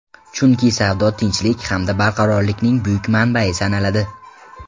Chunki savdo tinchlik hamda barqarorlikning buyuk manbai sanaladi.